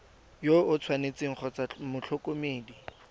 yo o tshwanetseng kgotsa motlhokomedi